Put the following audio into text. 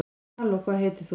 halló hvað heitir þú